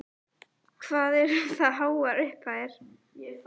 Telma: Hvað eru það háar upphæðir?